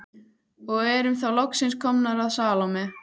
Og erum þá loksins komnar að Salóme.